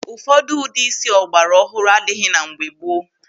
Ụfọdụ ụdị ísí ọ gbara ọhụrụ adịghị na mgbe gboo.